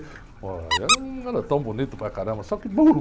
Pô, eu não era tão bonito para caramba, só que burro.